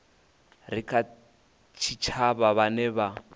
re kha tshitshavha vhane vha